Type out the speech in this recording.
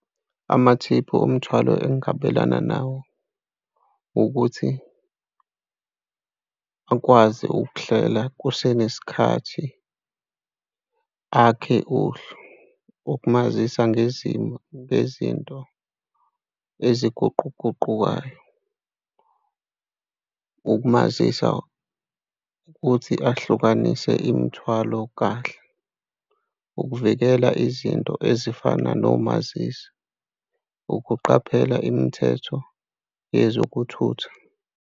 Amathiphu omthwalo ungabelana nawo ukuthi akwazi ukuhlela kusenesikhathi, akhe uhlu ukumazisa ngezimo, ngezinto eziguquguqukayo. Ukumazisa ukuthi ahlukanise imithwalo kahle, ukuvikela izinto ezifana nomazisi, ukuqaphela imithetho yezokuthutha.